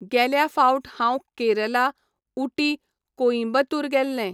गेल्या फावट हांव केरला, उटी, कोइंबतूर गेल्लें.